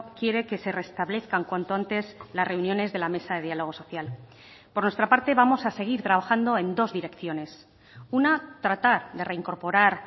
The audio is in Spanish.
quiere que se restablezcan cuanto antes las reuniones de la mesa de diálogo social por nuestra parte vamos a seguir trabajando en dos direcciones una tratar de reincorporar